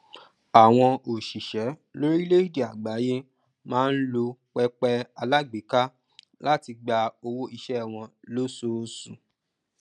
àwọn òṣìṣẹ lórílẹèdè àgbáyé máa ń lo pẹpẹ alágbèéká láti gba owó iṣẹ wọn lóṣooṣù